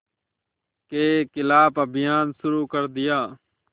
के ख़िलाफ़ अभियान शुरू कर दिया